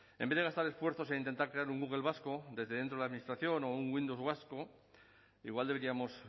en vez de gastar esfuerzos e intentar crear un google vasco desde dentro de administración o un windows vasco igual deberíamos